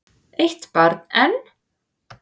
Eitt barn enn?